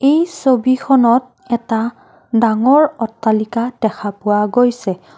এই ছবিখনত এটা ডাঙৰ অট্টালিকা দেখা পোৱা গৈছে।